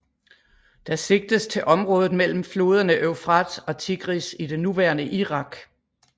Der sigtes til området mellem floderne Eufrat og Tigris i det nuværende Irak